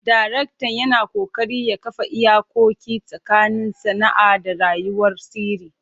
Daraktan yana ƙoƙari ya kafa iyakoki tsakanin sana'a da rayuwar sirri.